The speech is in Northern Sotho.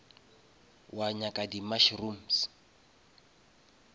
wa nyaka di mushrooms